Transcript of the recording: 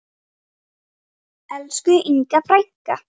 Elsku Inga frænka.